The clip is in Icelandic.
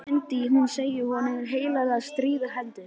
Þá myndi hún segja honum heilagt stríð á hendur!